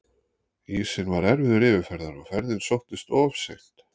Ísinn var erfiður yfirferðar og ferðin sóttist of seint.